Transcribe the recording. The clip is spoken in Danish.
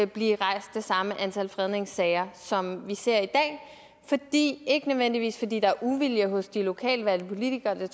blive rejst det samme antal fredningssager som vi ser i dag det ikke nødvendigvis fordi der er uvilje hos de lokalt valgte politikere det